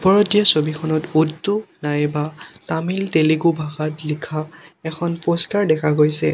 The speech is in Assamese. ওপৰত দিয়া ছবিখনত উৰ্দু নাইবা তামিল তেলেগু ভাষাত লিখা এখন প'ষ্টাৰ দেখা গৈছে।